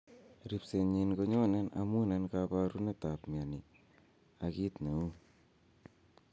Rispsenyin ko nyone amun en koporunetap ap mioni ak kit neu.